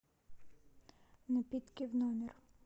напитки в номер